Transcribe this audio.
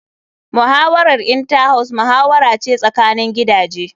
Muhawarar Inter house muhawara ce tsakanin gidaje.